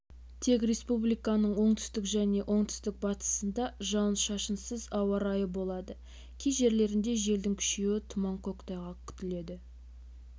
тек республиканың оңтүстік және оңтүстік-батысында жауын-шашынсыз ауа райы болады кей жерлерінде желдің күшеюі тұман көктайғақ күтіледі